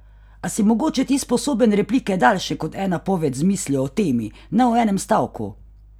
A si mogoče ti sposoben replike daljše kot ena poved z mislijo o temi, ne o enem stavku?